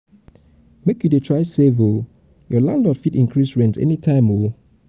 make you dey try save o your landlord fit increase rent anytime o.